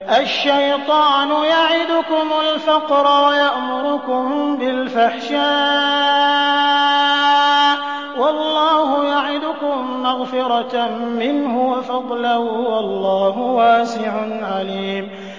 الشَّيْطَانُ يَعِدُكُمُ الْفَقْرَ وَيَأْمُرُكُم بِالْفَحْشَاءِ ۖ وَاللَّهُ يَعِدُكُم مَّغْفِرَةً مِّنْهُ وَفَضْلًا ۗ وَاللَّهُ وَاسِعٌ عَلِيمٌ